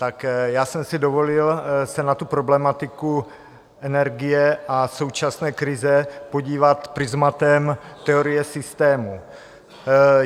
Tak já jsem si dovolil se na tu problematiku energie a současné krize podívat prizmatem teorie systému.